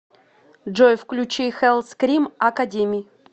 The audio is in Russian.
джой включи хэллскрим академи